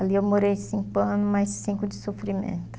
Ali eu morei cinco anos, mais cinco de sofrimento.